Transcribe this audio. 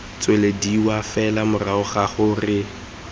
tswelediwa fela morago ga gore